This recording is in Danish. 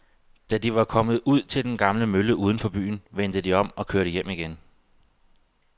Da de var kommet ud til den gamle mølle uden for byen, vendte de om og kørte hjem igen.